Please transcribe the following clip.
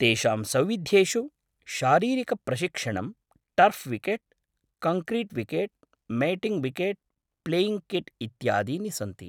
तेषां सौविध्येषु शारीरिकप्रशिक्षणम्, turf wicket, concrete wicket, matting wicket, playing kit इत्यादीनि सन्ति।